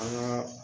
An ka